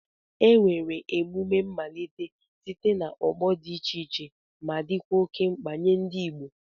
Emere emume mmalite site n'ọgbọ dị iche iche ma dịkwa oke mkpa nye ndị Igbo.